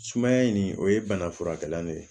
Sumaya in nin o ye bana furakɛla dɔ ye